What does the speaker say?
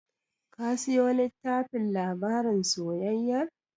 Ka siyo tllittafin labarin soyayyar?